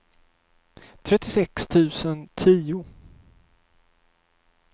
trettiosex tusen tio